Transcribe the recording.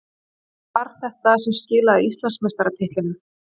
Hvað var það sem skilaði Íslandsmeistaratitlinum?